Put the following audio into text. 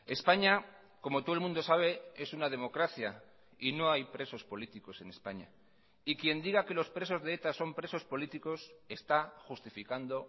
españa como todo el mundo sabe es una democracia y no hay presos políticos en españa y quien diga que los presos de eta son presos políticos está justificando